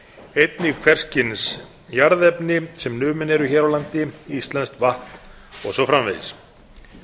einnig hvers kyns jarðefni sem numin eru hér á landi íslenskt vatn og svo framvegis